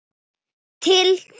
Til þín.